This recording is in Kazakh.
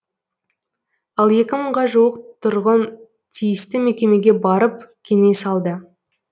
ал екі мыңға жуық тұрғын тиісті мекемеге барып кеңес алды